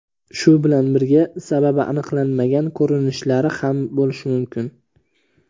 Shu bilan birga sababi aniqlanmagan ko‘rinishlari ham bo‘lishi mumkin.